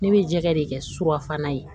Ne bɛ jɛgɛ de kɛ surafana ye